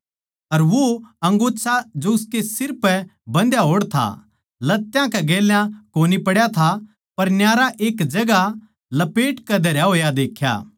अर वो अंगोच्छा जो उसकै सिर पै बन्धा होड़ था लत्यां कै गेल्या कोनी पड्या था पर न्यारा एक ठोड़ लपेटकै धरया होया देख्या